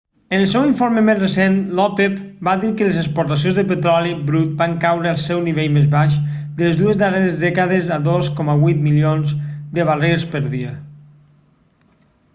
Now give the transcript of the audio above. en el seu informe més recent l'opep va dir que les exportacions de petroli brut van caure al seu nivell més baix de les dues darreres dècades a 2,8 milions de barrils per dia